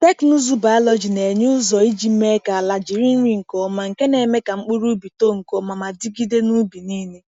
Teknụzụ biọlọjị na-enye ụzọ iji mee ka ala jiri nri nke ọma, nke na-eme ka mkpụrụ ubi too nke ọma ma dịgide n’ubi niile.